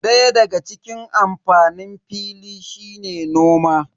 Daya daga cikin amfanin fili shine noma.